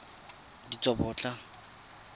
ditsobotla